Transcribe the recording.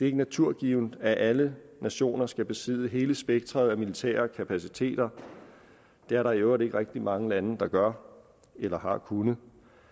ikke naturgivent at alle nationer skal besidde hele spektret af militære kapaciteter det er der i øvrigt ikke mange lande der gør eller har kunnet